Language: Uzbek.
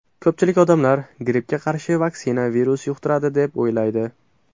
Ko‘pchilik odamlar grippga qarshi vaksina virus yuqtiradi deb o‘ylaydi.